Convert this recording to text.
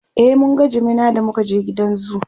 e mun ga jimina da muka je gidan zoo